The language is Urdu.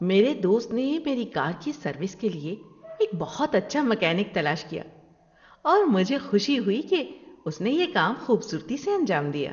میرے دوست نے میری کار کی سروس کے لیے ایک بہت اچھا میکینک تلاش کیا اور مجھے خوشی ہوئی کہ اس نے یہ کام خوبصورتی سے انجام دیا۔